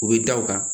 U bɛ da u kan